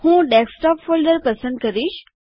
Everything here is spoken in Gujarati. હું ડેસ્કટોપ ફોલ્ડર પસંદ કરીશ